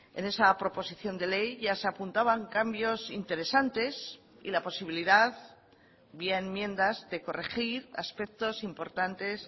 en esa proposición de ley ya se apuntaban cambios interesantes y la posibilidad vía enmiendas de corregir aspectos importantes